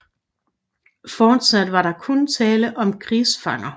Fortsat var der kun tale om krigsfanger